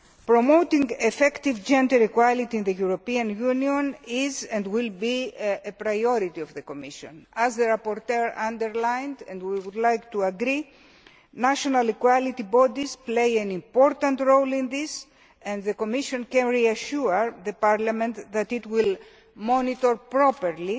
Promoting effective gender equality in the European Union is and will continue to be a priority of the Commission. As the rapporteur underlined and we would like to agree national equality bodies play an important role in this, and the Commission can reassure Parliament that it will monitor properly